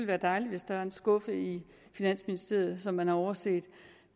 være dejligt hvis der var en skuffe i finansministeriet som man har overset